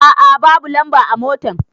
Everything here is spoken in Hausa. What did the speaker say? A a babu lamba a motan.